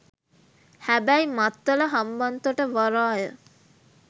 හැබැයි මත්තල හම්බන්තොට වරාය